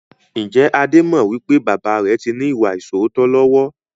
Ǹjẹ́ Adé mọ wípé baba rẹ tí ní ìwà ìsootọ́ lọ́wọ́?